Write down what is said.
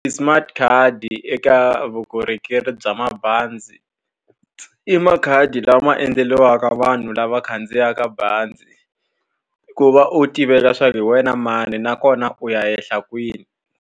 Ti- smart card-i eka vukorhokeri bya mabazi, i makhadi lama endleriwaka vanhu lava khandziyaka bazi ku va u tiveka leswaku hi wena mani nakona u ya ehla kwihi.